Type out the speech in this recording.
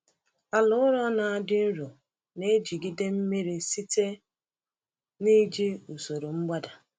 Ala ụrọ na-adị nro na-ejigide mmiri site n’iji usoro mgbada.